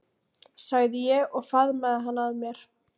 sagði ég og faðmaði hann að mér.